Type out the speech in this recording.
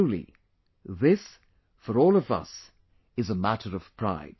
Truly, this, for all of us, is a matter of pride